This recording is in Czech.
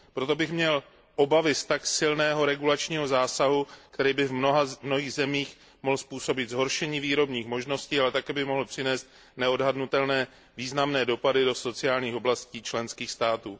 Proto bych měl obavy z tak silného regulačního zásahu, který by v mnoha zemích mohl způsobit zhoršení výrobních možností, ale také by mohl přinést neodhadnutelné významné dopady do sociálních oblastí členských států.